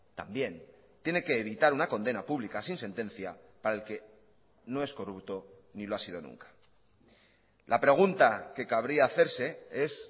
también tiene que evitar una condena pública sin sentencia para el que no es corrupto ni lo ha sido nunca la pregunta que cabría hacerse es